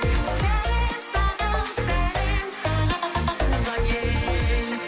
сәлем саған сәлем саған туған ел